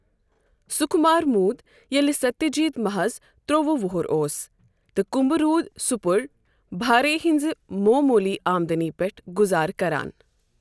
سُکُمار موٗد ییٚلہِ ستیہ جیت محظ تر٘ووُہ وُہُر اوس تہٕ كُمبہٕ روُد سُپر٘بھا رے ہنزِ موموُلی آمدنی پیٹھ گُزارٕ كران ۔